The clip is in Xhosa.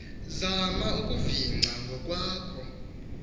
zama ukuvicinga ngokwakho